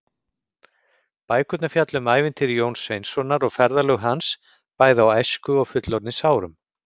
Bækurnar fjalla um ævintýri Jóns Sveinssonar og ferðalög hans, bæði á æsku- og fullorðinsárum.